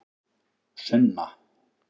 Sunna